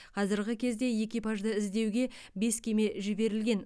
қазіргі кезде экипажды іздеуге бес кеме жіберілген